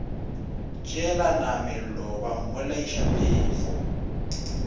tšeelana mello ba mmolaiša phefo